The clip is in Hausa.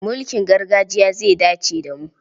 Mulkin gargajiya zai dace da mu.